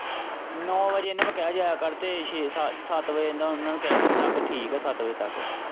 ਨੋ ਵਜੇ ਇਹਨੂੰ ਮੈਂ ਕਿਹਾ ਜਾਇਆ ਕਰ ਤੇ ਛੇ ਸੱਤ ਵਜੇ ਉਹਨਾਂ ਨੂੰ ਕਹਿ ਠੀਕ ਹੈ ਸੱਤ ਵਜੇ ਤੱਕ।